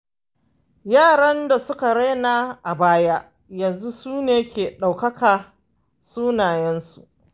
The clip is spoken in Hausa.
Yaran da suka raina a baya yanzu sune ke ɗaukaka sunansu.